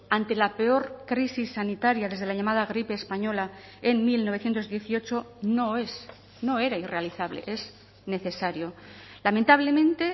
ante la peor crisis sanitaria desde la llamada gripe española en mil novecientos dieciocho no es no era irrealizable es necesario lamentablemente